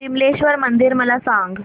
विमलेश्वर मंदिर मला सांग